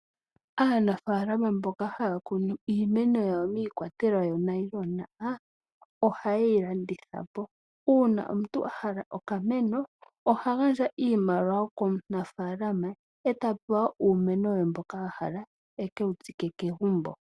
Aanafaalama mboka haya kunu iimeno yawo miikwatelwa yonayilona ohaye yi landitha po. Uuna omuntu a hala okameno oha gandja iimaliwa komunafaalama eta pewa uumeno we mboka a hala eke wutsike kegumbo.